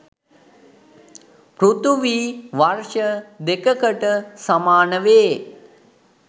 පෘථිවි වර්ෂ දෙකකට සමානවේ.